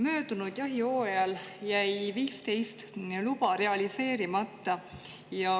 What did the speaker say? Möödunud jahihooajal jäi 15 luba realiseerimata.